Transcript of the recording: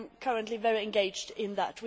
I am currently very engaged in that.